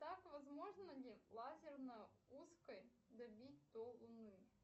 так возможно ли лазерной узкой добить до луны